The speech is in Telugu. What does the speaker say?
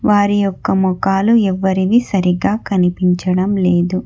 వారి యొక్క మోకాలు ఎవ్వరివి సరిగ్గా కనిపించడం లేదు.